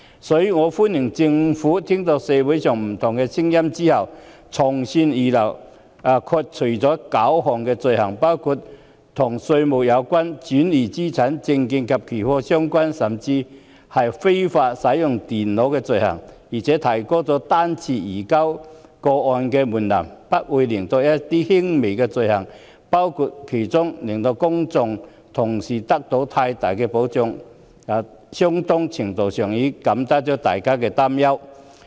所以，我歡迎政府在聆聽社會上不同的聲音後從善如流，剔除了9項罪行類別，包括與稅務相關、轉移資產、證券及期貨相關，甚至是非法使用電腦等罪行，並提高了個案方式移交的門檻，排除一些輕微罪行，令公眾得到更大保障，在相當程度上減輕了大家的擔憂。